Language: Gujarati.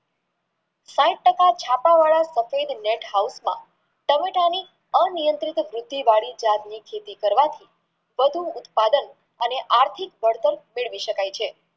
સાહીઠ ટકા છાપ વાળા સફેદ નેટ હાવુંશમાં ટામેટાની અનિયન્ત્રિત બુદ્ધિ વળી પાક ની ખેતી કરવાથી વધુ ઉત્પાદન અને આર્થીક બળતણ મેળવી શકાય છે